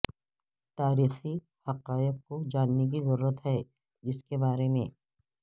تاریخی حقائق کو جاننے کی ضرورت ہے جس کے بارے میں